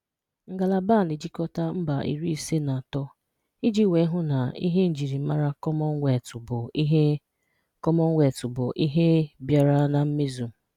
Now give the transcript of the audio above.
Ngalaba a na-achịkọta mba iri ise na atọ iji wee hụ na ihe njirimara Kọmmọnụweetụ bụ ihe Kọmmọnụweetụ bụ ihe bịara na mmezu.